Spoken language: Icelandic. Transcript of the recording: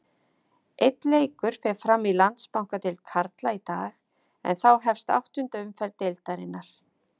Einn leikur fer fram í Landsbankadeild karla í dag en þá hefst áttunda umferð deildarinnar.